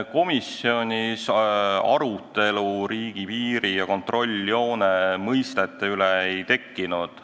Komisjonis riigipiiri ja kontrolljoone mõistete üle arutelu ei tekkinud.